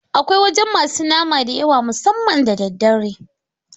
Akwai wajan masu nama da yawa musamman da daddare